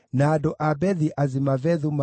na cia Imeri ciarĩ 1,052